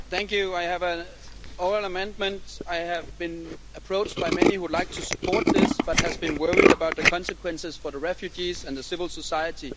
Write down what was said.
Mr President, I have an oral amendment. I have been approached by many would like to support this but have been worried about the consequences for refugees and civil society.